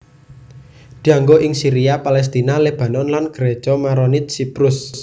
Dianggo ing Syria Palestina Lebanon lan Gereja Maronit Siprus